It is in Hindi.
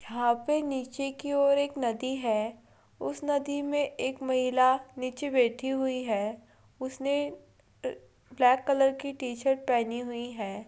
यहाँ पे नीचे की ओर एक नदी है उस नदी में एक महिला नीचे बैठी हुई है उसने ब्लैक कलर की टी-शर्ट पहनी हुई है।